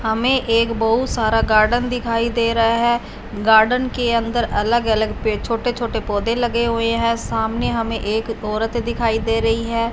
हमें एक बहुत सारा गार्डन दिखाई दे रहा है गार्डन के अंदर अलग अलग पे छोटे छोटे पौधे लगे हुए हैं सामने हमें एक औरत दिखाई दे रही है।